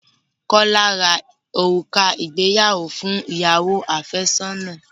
Kọ́lá rá òrùka ìgbéyàwó fún ìyàwó àfẹ́sọ́nà.